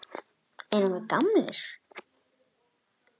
Erum við gamlir?